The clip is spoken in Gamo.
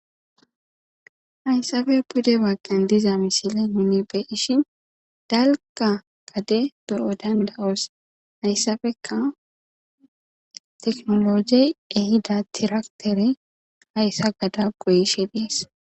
Hasappe pude bagan diza misile nuni be'ishin dalaga gada be'odan be'os hayisappeka tekinolojeyi ehida trafitere hayisa gada goyishe des.